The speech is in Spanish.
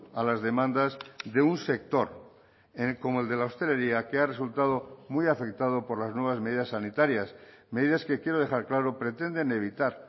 a las demandas de un sector como el de la hostelería que ha resultado muy afectado por las nuevas medidas sanitarias medidas que quiero dejar claro pretenden evitar